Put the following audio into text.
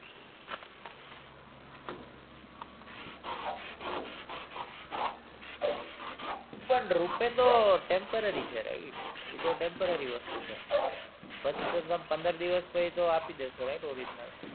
પણ rupay તો temporary છે ઈ તો temporary વસ્તુ છે પછી તો તમે પંદર દિવસ પછી તો આપી જ દેશો right original